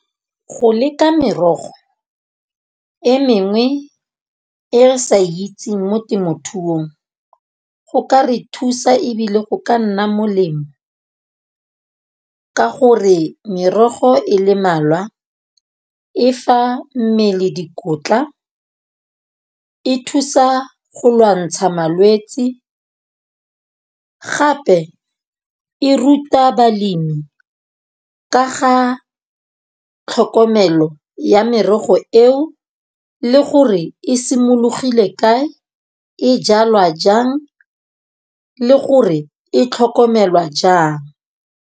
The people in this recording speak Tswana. Go leka merogo e mengwe e re sa itseng mo temothuong go ka re thusa. Ebile go ka nna molemo ka gore merogo e le malwa e fa mmele dikotla, e thusa go lwantsha malwetsi gape e ruta balemi ka ga tlhokomelo ya merogo eo, le gore e simologile kae, e jalwa jang le gore e tlhokomelwa jang.